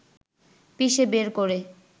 পিষে বের করে